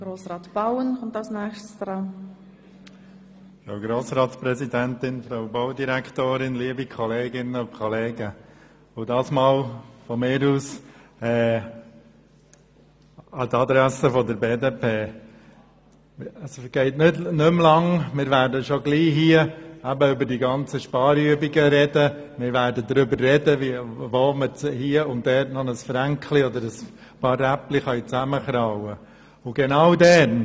An die Adresse der BDP: Es dauert nicht mehr lange, bis wir hier über die Sparübungen sprechen werden und darüber, wo wir hier und dort noch ein paar «Fränkli» oder «Räppli» zusammenkratzen können.